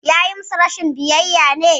Ya yi musu rashin biyayya ne?